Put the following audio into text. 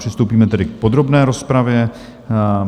Přistoupíme tedy k podrobné rozpravě.